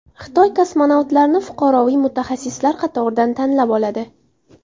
Xitoy kosmonavtlarni fuqaroviy mutaxassislar qatoridan tanlab oladi.